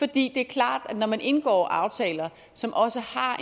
det er klart at når man indgår aftaler som også